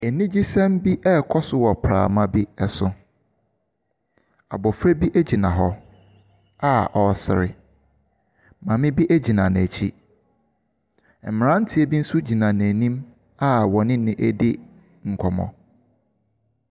Anigyesɛm bi rekɔ so wɔ prama bi so. Abɔfra bi gyina hɔ a ɔresere. Maame bi gyina n'akyi. Mmeranteɛ bi nso gyina n'anim a wɔne no redi nkɔmmɔ.